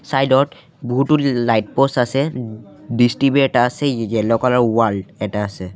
Side ত বহুতো light post আছে দিছ টি_ভি এটা আছে য়ে-য়েল্লো কালাৰ ৱাল এটা আছে।